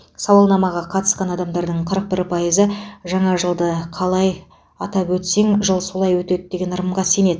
сауалнамаға қатысқан адамдардың қырық бір пайызы жаңа жылды қалай атап өтсең жыл солай өтеді деген ырымға сенеді